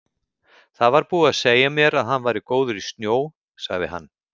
Það var búið að segja mér að hann væri góður í snjó, sagði hann.